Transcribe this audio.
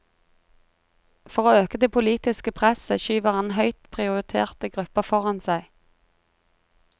For å øke det politiske presset skyver han høyt prioriterte grupper foran seg.